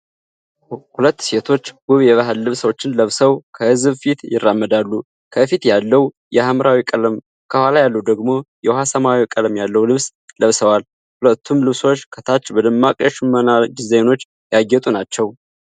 ሁለት ሴቶች ውብ የባህል ልብሶችን ለብሰው ከሕዝብ ፊት ይራመዳሉ። ከፊት ያለው የሐምራዊ ቀለም፣ ከኋላ ያለው ደግሞ የውሃ ሰማያዊ ቀለም ያለው ልብስ ለብሰዋል። ሁለቱም ልብሶች ከታች በደማቅ የሽመና ዲዛይኖች ያጌጡ ናቸው።